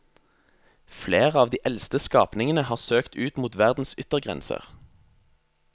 Flere av de eldste skapningene har søkt ut mot verdens yttergrenser.